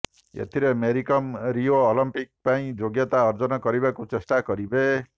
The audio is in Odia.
ଏଥିରେ ମେରୀ କମ୍ ରିଓ ଅଲିମ୍ପିକ୍ ପାଇଁ ଯୋଗ୍ୟତା ଅର୍ଜନ କରିବାକୁ ଚେଷ୍ଟା କରିବେ